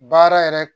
Baara yɛrɛ